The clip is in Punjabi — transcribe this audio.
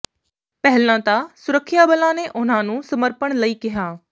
ਪਹਿਲਾਂ ਤਾਂ ਸੁਰੱਖਿਆ ਬਲਾਂ ਨੇ ਉਨ੍ਹਾਂ ਨੂੰ ਸਮਰਪਣ ਲਈ ਕਿਹਾ